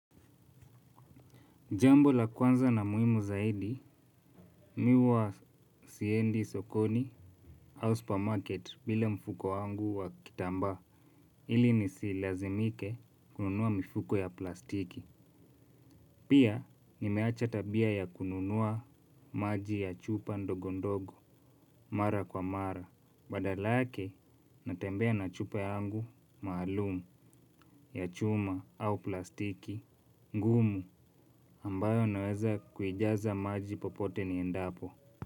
Jambo la kwanza na muhimu zaidi, mi huwa siendi sokoni au supermarket bile mfuko wangu wa kitamba. Ili nisilazimike kununua mifuko ya plastiki. Pia nimeacha tabia ya kununua maji ya chupa ndogo ndogo mara kwa mara. Badala yake natembea na chupa yangu maalum ya chuma au plastiki ngumu ambayo naweza kujaza maji popote niendapo.